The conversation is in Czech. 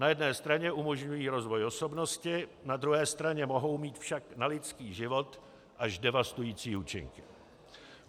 Na jedné straně umožňují rozvoj osobnosti, na druhé straně mohou mít však na lidský život až devastující účinky.